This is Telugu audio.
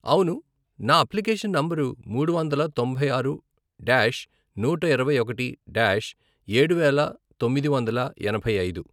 అవును, నా అప్లికేషన్ నంబరు మూడు వందల తొంభై ఆరు డాష్ నూట ఇరవై ఒకటి డాష్ ఏడువేల తొమ్మిది వందల ఎనభై ఐదు.